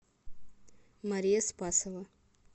мария спасова